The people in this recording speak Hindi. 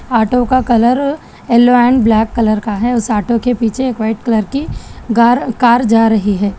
आटो का colour yellow and black colour का है उस आटो के पीछे एक व्हाइट कलर की गार कार जा रही है।